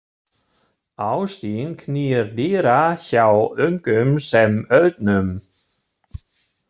Ástin knýr dyra hjá ungum sem öldnum.